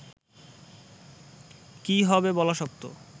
কী হবে বলা শক্ত